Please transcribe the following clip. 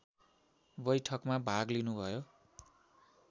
बैठकमा भाग लिनुभयो